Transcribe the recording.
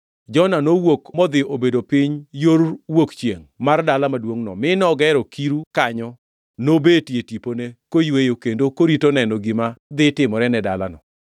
Jona nowuok modhi obedo piny yor wuok chiengʼ mar dala maduongʼno, mi nogero kiru kanyo nobetie tipone koyweyo kendo korito neno gima dhi timore ne dalano.